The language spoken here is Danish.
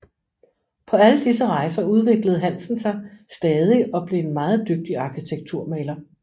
På alle disse rejser udviklede Hansen sig stadig og blev en meget dygtig arkitekturmaler